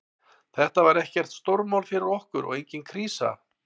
Þetta var ekkert stórmál fyrir okkur og engin krísa.